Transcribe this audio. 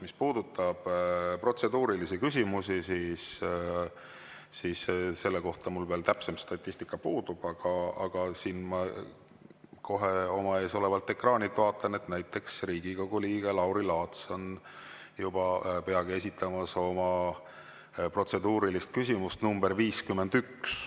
Mis puudutab protseduurilisi küsimusi, siis selle kohta mul veel täpsem statistika puudub, aga ma oma ees olevalt ekraanilt vaatan, et näiteks Riigikogu liige Lauri Laats on peagi esitamas oma protseduurilist küsimust nr 51.